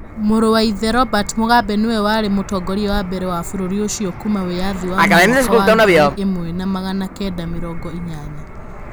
Mũrũ wa ithe, Robert Mugabe, nĩwe warĩ mũtongoria wa mbere wa bũrũri ũcio kuuma wĩyathi wa mwaka wa ngiri ĩmwe na magana kenda mĩrongo inyanya.